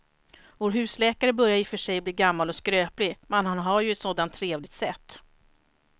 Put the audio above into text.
Vår husläkare börjar i och för sig bli gammal och skröplig, men han har ju ett sådant trevligt sätt!